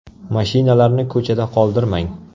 Mashinalarni ko‘chada qoldirmang.